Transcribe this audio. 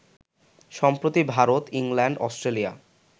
সম্প্রতি Bharat, England, Australia